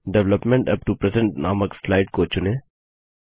development up to present नामक slide को चुनें